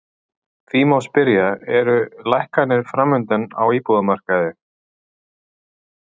Því má spyrja, eru lækkanir framundan á íbúðamarkaði?